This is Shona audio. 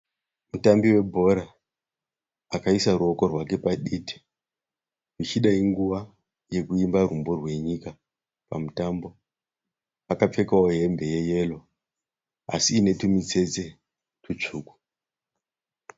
Mutambi webhora akaisa ruoko rwake paditi. Zvichida inguva yekuimba rumbo rwenyika pamutambo. Akapfekawo hembe yeyero asi iine tumitsetse tutsvuku.